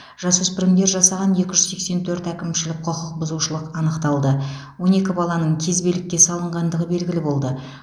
жасөспірімдер жасаған екі жүз сексен төрт әкімшілік құқық бұзушылық анықталды он екі баланың кезбелікке салынғандығы белгілі болды